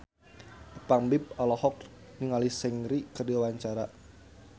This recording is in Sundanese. Ipank BIP olohok ningali Seungri keur diwawancara